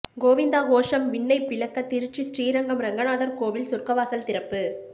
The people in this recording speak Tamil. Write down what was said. கோவிந்தா கோஷம் விண்ணை பிளக்க திருச்சி ஸ்ரீரங்கம் ரெங்கநாதர் கோவில் சொர்க்கவாசல் திறப்பு